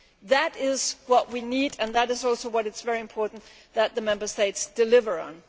That is what we need, and it is also what is very important that the Member States deliver